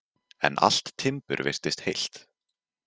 En allt timbur virtist heilt.